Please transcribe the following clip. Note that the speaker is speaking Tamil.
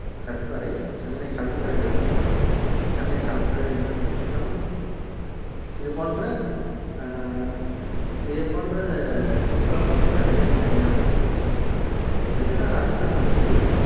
கற்பாறை, சென்னை கலங்கரை விளக்கம், சென்னை கலங்கரை விளக்கம் இது போன்ற அஹ் இது போன்றது அஹ் சுற்றுலாத்தலங்கள் நிறைய மெரீனாவிலு இருக்கின்றன மெரீனா அருகாமையில்